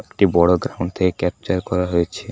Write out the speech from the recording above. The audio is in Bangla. একটি বড় গ্রাউন্ড থেকে ক্যাপচার করা হয়েছে।